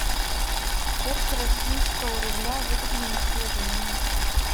курс российского рубля выгодное предложение